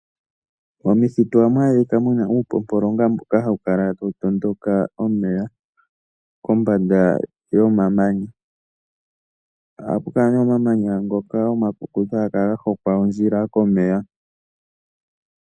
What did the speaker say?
Momakuti oha mu adhika uupopolonga mboka hawu kala tawu tondoka omeya kombanda yomamanya. Ohapu kala nee omamanya ngoka omakukutu haga kala hokwa ondjila komeya.